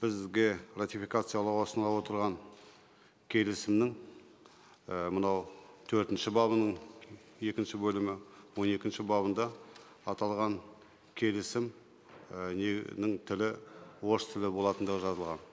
бізге ратификациялауға ұсынылып отырған келісімнің і мынау төртінші бабының екінші бөлімі он екінші бабында аталған келісім і ненің тілі орыс тілі болатындығы жазылған